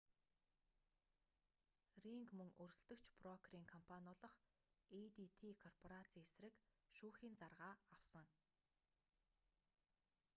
ринг мөн өрсөлдөгч брокерийн компани болох эйдити корпорацийн эсрэг шүүхийн заргаа авсан